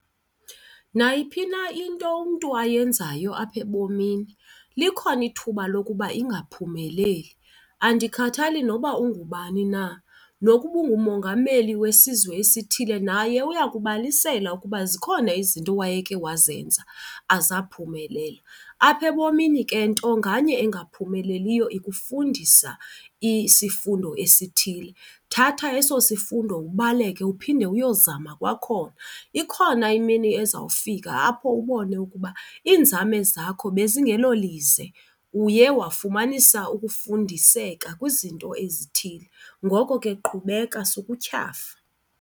Nayiphi na into umntu ayenzayo apha ebomini likhona ithuba lokuba ingaphumeleli. Andikhathali nokuba ungubani na, nokuba ungumongameli wesizwe esithile naye uya kubalisela ukuba zikhona izinto wayeke wazenza azaphumelela. Apha ebomini ke nto nganye engaphumeleliyo ikufundisa isifundo esithile. Thatha eso sifundo ubaleke uphinde uyozama kwakhona. Ikhona imini ezawufika apho ubone ukuba iinzame zakho bezingelo lize, uye wafumanisa ukufundiseka kwizinto ezithile ngoko ke qhubeka sukutyhafa.